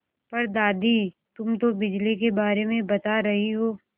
पर दादी तुम तो बिजली के बारे में बता रही हो